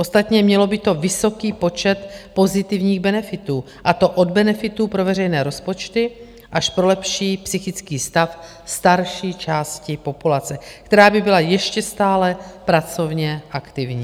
Ostatně mělo by to vysoký počet pozitivních benefitů, a to od benefitů pro veřejné rozpočty až pro lepší psychický stav starší části populace, která by byla ještě stále pracovně aktivní.